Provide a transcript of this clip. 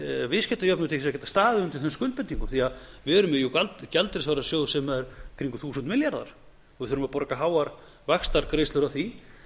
viðskiptajöfnuð til þess að geta staðið undir þeim skuldbindingum við erum jú með gjaldeyrisvarasjóð sem er í kringum þúsund milljarðar og við þurfum að borga háar vaxtagreiðslur af því